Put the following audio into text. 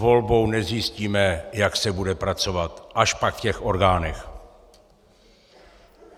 Volbou nezjistíme, jak se bude pracovat, až pak v těch orgánech.